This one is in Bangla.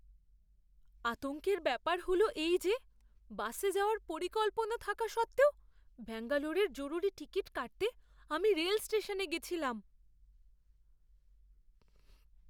আতঙ্কের ব্যাপার হলো এই যে, বাসে যাওয়ার পরিকল্পনা থাকা সত্ত্বেও ব্যাঙ্গালোরের জরুরি টিকিট কাটতে আমি রেল স্টেশনে গেছিলাম।